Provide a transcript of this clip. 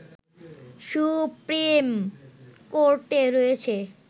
supreme কোর্টে রয়েছে